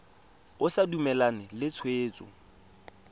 o sa dumalane le tshwetso